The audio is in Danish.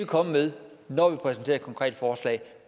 komme med når vi præsenterer et konkret forslag